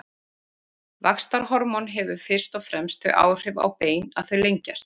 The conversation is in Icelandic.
Vaxtarhormón hefur fyrst og fremst þau áhrif á bein að þau lengjast.